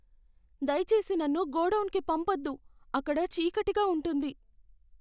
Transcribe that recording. దయచేసి నన్ను గోడౌన్కు పంపొద్దు. అక్కడ చీకటిగా ఉంటుంది.